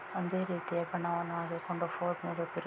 ಒಂದೇ ರೀತಿಯ ಬಣ್ಣವನ್ನು ಹಾಕಿಕೊಂಡು ಫೋಸ್‌ ಮಾಡುತ್ತಿರುವುದು